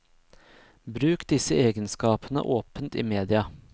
Bruk disse egenskapene åpent i media.